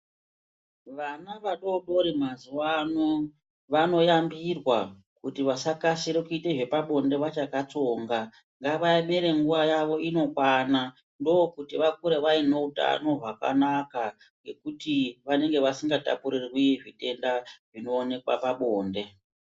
Vana vadodori mazuwaano, vanoyambirwa kuti vasakasire kuite zvepabonde vachakatsonga. Ngavaemere nguva yavo inokwana, ndokuti vakure vaine utano hwakanaka ,ngekuti vanenge vasingatapurirwi zvitenda, zvinowanikwa pabonde.